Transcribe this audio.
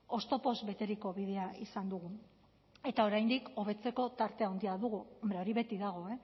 oztopoz beteriko bidea izan dugu eta oraindik hobetzeko tarte handia dugu hombre hori beti dago